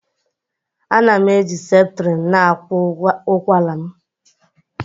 Ana m eji septrin na-agwọ ụkwara m